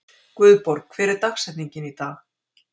Guðborg, hver er dagsetningin í dag?